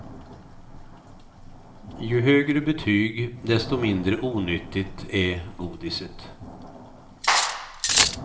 Ju högre betyg, desto mindre onyttigt är godiset.